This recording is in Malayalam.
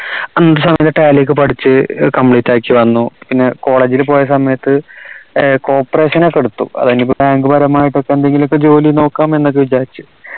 ആ സമയത്ത് tally ഒക്കെ പഠിച്ച് complete ആക്കി വന്നു പിന്നെ college ൽ പോയ സമയത്ത് ഏർ corporation ഒക്കെ എടുത്തു bank പരമായിട്ടൊക്കെ എന്തെങ്കിലു ജോലി നോക്കാം എന്നൊക്കെ വിചാരിച്ച്